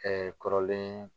kɔrɔlen